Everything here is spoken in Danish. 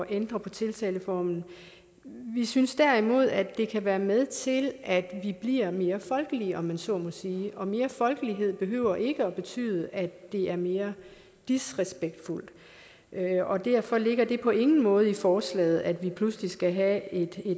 ændre på tiltaleformen vi synes derimod at det kan være med til at vi bliver mere folkelige om man så må sige og mere folkelighed behøver ikke at betyde at det bliver mere disrespektfuldt og derfor ligger det på ingen måde i forslaget at vi pludselig skal have et